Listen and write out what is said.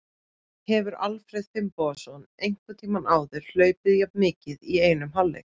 Hefur Alfreð Finnbogason einhvern tímann áður hlaupið jafn mikið í einum hálfleik?